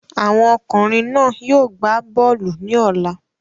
Àwọn ọkùnrin náà yóò gbá bọ́ọ̀lù ní ọ̀la.